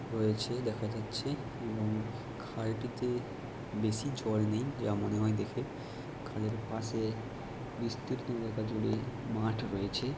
রয়েছে দেখা যাছে এবং খালটিতে বেশি জল নেই যা মনে হয় দেখে। খালের পাশে বিস্তীর্ণ জায়গা জুড়ে মাঠ রয়েছে।